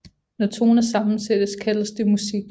Når toner sammensættes kaldes det musik